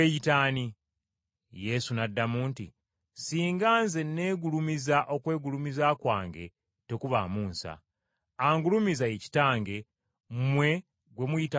Yesu n’addamu nti, “Singa Nze neegulumiza okwegulumiza kwange tekubaamu nsa, angulumiza ye Kitange mmwe gwe muyita Katonda wammwe,